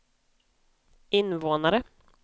invånare